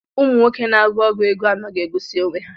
Ụmụnwoke na-agwọ ọgwụ ego anaghị egosi onwe ha.